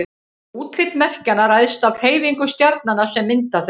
útlit merkjanna ræðst af hreyfingum stjarnanna sem mynda þau